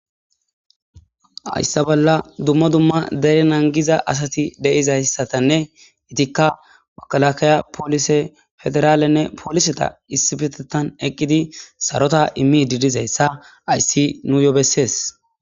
Haysa bollan dummabdumma dere naagiza asati de'ay asatinne etikka makalakaya polise federale polisetta issippetetan eqqidi sarota imidi diza issa nuyo besses.